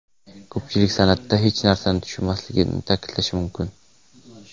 Ko‘pchilik san’atda hech narsani tushunmasligini ta’kidlashi mumkin.